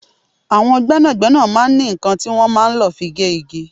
Àwọn gbẹ́nàgbẹ́nà máa ń ní nǹkan tí wọn máa ń lọ fi gé igi.